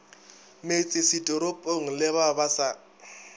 metsesetoropong le ba ba sa